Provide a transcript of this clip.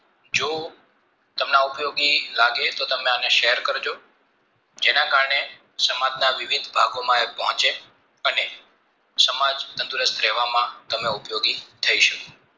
જો આ ઉપયોગી લાગે તો share કરજો જેના કારણે સમાજના વિવિધ ભાગો માં એ પહોંચે અને સમાજ તંદુરસ્ત રહેવા માં તમે ઉપયોગી થઈ શકો